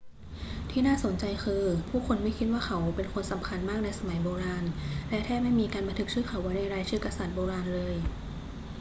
ที่น่าสนใจคือ ผู้คนไม่คิดว่าเขาเป็นคนสำคัญมากในสมัยโบราณ และแทบไม่มีการบันทึกชื่อเขาไว้ในรายชื่อกษัตริย์โบราณเลย